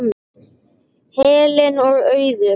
Helen og Auður.